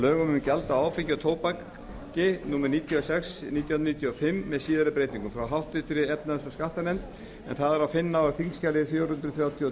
lögum um gjald á áfengi og tóbaki númer níutíu og sex nítján hundruð níutíu og fimm með síðari breytingum frá háttvirtri efnahags og skattanefnd en það er að finna á þingskjali fjögur hundruð